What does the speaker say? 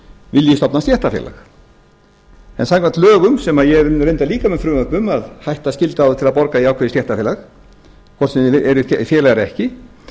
vilji stofna stéttarfélag en samkvæmt lögum sem eru líka með frumvörpum að hætta að skylda þá til að borga í ákveðið stéttarfélag hvort sem þeir eru félagar eða ekki